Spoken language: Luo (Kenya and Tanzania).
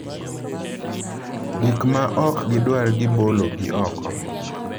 Gik ma ok gidwar gibologi oko.